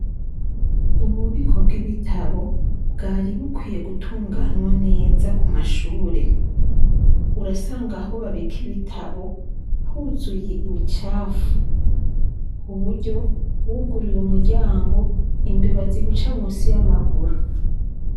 Ububiko bw' ibitabo, bwari bukwiye gutunganywa neza ku mashure. Urasanga aho babika ibitabo, huzuye imicafu ku buryo imbeba ziguca munsi y' amakuru.